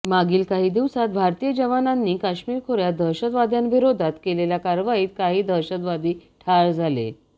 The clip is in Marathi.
मागील काही दिवसात भारतीय जवानांनी काश्मीर खोऱ्यात दहशतवाद्यांविरोधात केलेल्या कारवाईत काही दहशतवादी ठार झाले